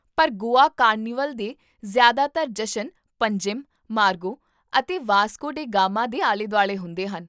ਪਰ ਗੋਆ ਕਾਰਨੀਵਲ ਦੇ ਜ਼ਿਆਦਾਤਰ ਜਸ਼ਨ ਪੰਜਿਮ, ਮਾਰਗੋ ਅਤੇ ਵਾਸਕੋ ਡੇ ਗਾਮਾ ਦੇ ਆਲੇ ਦੁਆਲੇ ਹੁੰਦੇ ਹਨ